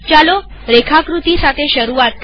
ચાલો રેખાકૃતિ સાથે શરૂઆત કરીએ